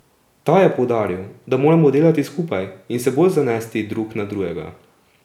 Ta je poudaril, da moramo delati skupaj in se bolj zanesti drug na drugega.